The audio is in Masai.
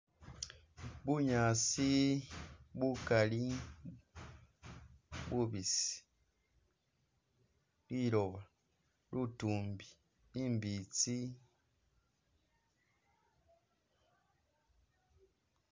Bunyaasi bukali bubisi, liloba, litumbi , imbitsi